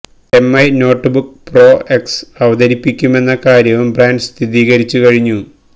Mi notebook pro X അവതരിപ്പിക്കുമെന്ന കാര്യവും brand സ്ഥിരീകരിച്ചു കഴിഞ്ഞു